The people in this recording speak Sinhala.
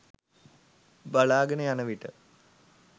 බලාගෙන යන විට